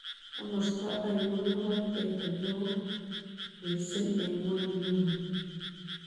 Komosto ainon ne po krete neo miising' eng' ng'wonyduni